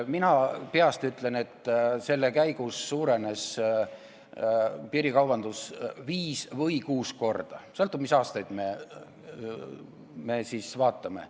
Mina peast ütlen, et piirikaubandus suurenes viis või kuus korda – sõltub sellest, mis aastaid me vaatame.